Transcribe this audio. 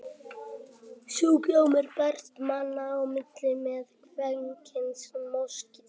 Sjúkdómurinn berst manna á milli með kvenkyns moskítóflugum.